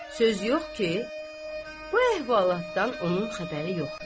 Söz yox ki, bu əhvalatdan onun xəbəri yoxdu.